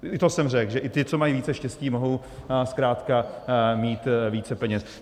I to jsem řekl, že i ti, co mají více štěstí, mohou zkrátka mít více peněz.